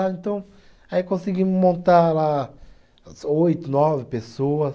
Então, aí conseguimos montar lá oito, nove pessoas.